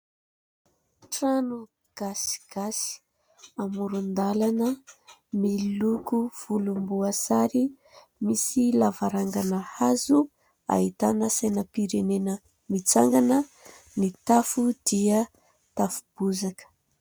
Trano gasigasy amoron-dàlana miloko volomboasary, misy lavarangana hazo, ahitana sainam-pirenena mitsangana, ny tafo dia tafo bozaka.